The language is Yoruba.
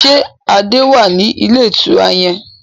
Ṣé Adé wá ní ilé ìtura yẹn?